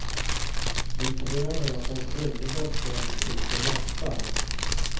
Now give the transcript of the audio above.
Vi kräver att de skyldiga ställs inför rätta.